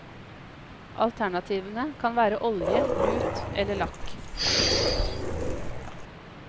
Alternativene kan være olje, lut eller lakk.